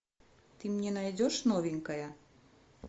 ты мне найдешь новенькое